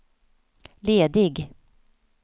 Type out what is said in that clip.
ledig